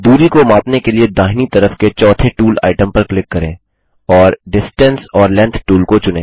दूरी को मापने के लिए दाहिनी तरफ के चौथे टूल आइटम पर क्लिक करें और डिस्टेंस ओर लेंग्थ टूल को चुनें